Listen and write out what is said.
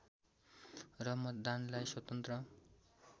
र मतदानलाई स्वतन्त्र